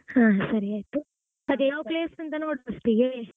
ಹ ಹ ಸರಿ ಆಯ್ತು. ಅದೇ ಯಾವ್ place ಅಂತ ನೋಡ್ first ಗೆ.